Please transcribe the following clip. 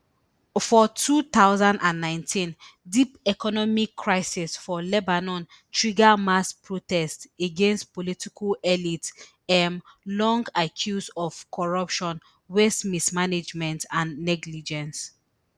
for two thousand and nineteen deep economic crisis for lebanon trigger mass protests against political elite um long accused of corruption waste mismanagement and negligence